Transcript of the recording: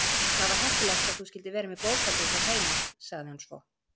Það var heppilegt að þú skyldir vera með bókhaldið hér heima- sagði hann svo.